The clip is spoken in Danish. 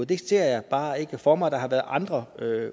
det ser jeg bare ikke for mig der har været andre